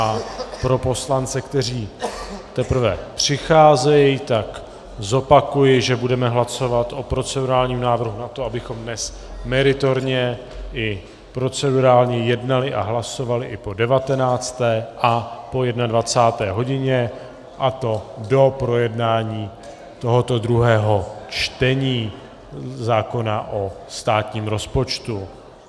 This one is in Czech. A pro poslance, kteří teprve přicházejí, zopakuji, že budeme hlasovat o procedurálním návrhu na to, abychom dnes meritorně i procedurálně jednali a hlasovali i po 19. a po 21. hodině, a to do projednání tohoto druhého čtení zákona o státním rozpočtu.